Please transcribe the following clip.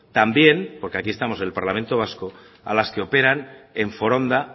también porque aquí estamos en el parlamento vasco a las que operan en foronda